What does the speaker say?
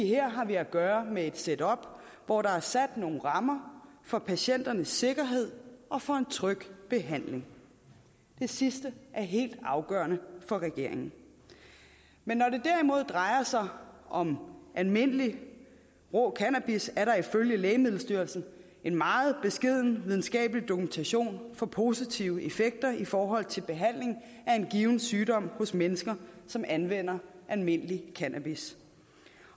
her har vi at gøre med et setup hvor der er sat nogle rammer for patienternes sikkerhed og for en tryg behandling det sidste er helt afgørende for regeringen men når det derimod drejer sig om almindelig rå cannabis er der ifølge lægemiddelstyrelsen en meget beskeden videnskabelig dokumentation for positive effekter i forhold til behandling af en given sygdom hos mennesker som anvender almindelig cannabis